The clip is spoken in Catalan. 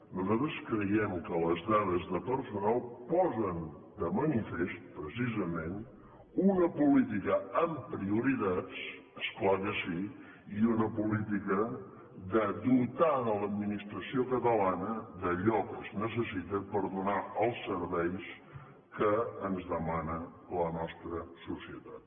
nosaltres creiem que les dades de personal posen de manifest precisament una política amb prioritats és clar que sí i una política de dotar l’administració catalana d’allò que es necessita per donar els serveis que ens demana la nostra societat